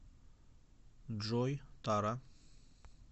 джой тара